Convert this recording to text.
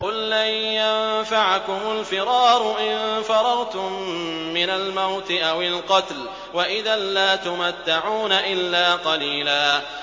قُل لَّن يَنفَعَكُمُ الْفِرَارُ إِن فَرَرْتُم مِّنَ الْمَوْتِ أَوِ الْقَتْلِ وَإِذًا لَّا تُمَتَّعُونَ إِلَّا قَلِيلًا